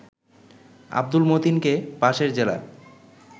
আব্দুল মতিনকে পাশের জেলা